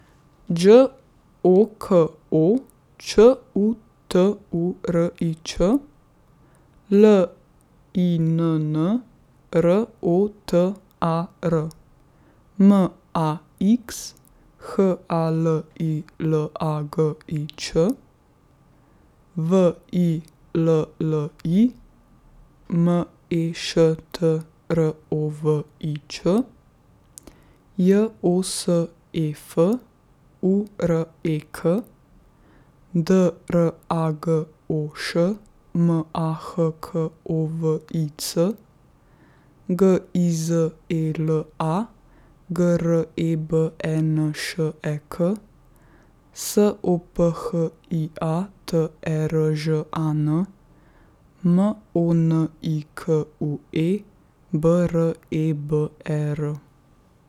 Đ O K O, Č U T U R I Ć; L I N N, R O T A R; M A X, H A L I L A G I Ć; W I L L I, M E Š T R O V I Ć; J O S E F, U R E K; D R A G O Š, M A H K O V I C; G I Z E L A, G R E B E N Š E K; S O P H I A, T E R Ž A N; M O N I K U E, B R E B E R.